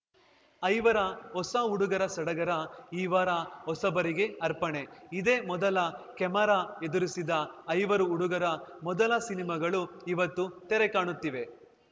ಐವರ ಹೊಸ ಹುಡುಗರ ಸಡಗರ ಈ ವಾರ ಹೊಸಬರಿಗೆ ಅರ್ಪಣೆ ಇದೇ ಮೊದಲ ಕೆಮರಾ ಎದುರಿಸಿದ ಐವರು ಹುಡುಗರ ಮೊದಲ ಸಿನಿಮಾಗಳು ಇವತ್ತು ತೆರೆಕಾಣುತ್ತಿವೆ